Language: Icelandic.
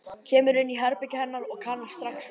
Kemur inn í herbergið hennar og kannast strax við sig.